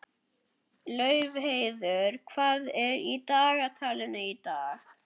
Laufheiður, hvað er í dagatalinu í dag?